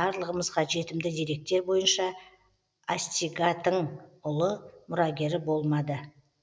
барлығымызға жетімді деректер бойынша астигатың ұлы мұрагері болмады